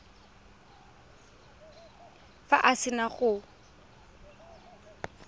fa a se na go